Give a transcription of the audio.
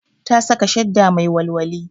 Ta saka shadda mai walwali